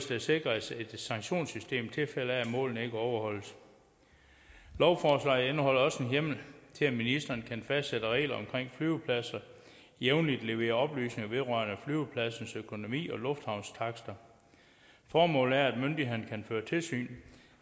der sikres et sanktionssystem i tilfælde af at målene ikke overholdes lovforslaget indeholder også en hjemmel til at ministeren kan fastsætte regler om at flyvepladser jævnligt skal levere oplysninger vedrørende flyvepladsens økonomi og luftfartstakster formålet er at myndighederne kan føre tilsyn